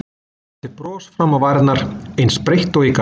Ég setti bros fram á varirnar, eins breitt og ég gat.